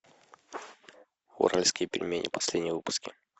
уральские пельмени последние выпуски